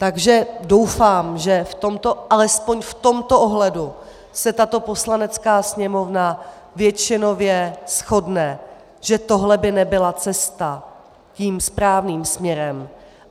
Takže doufám, že alespoň v tomto ohledu se tato Poslanecká sněmovna většinově shodne, že tohle by nebyla cesta tím správným směrem.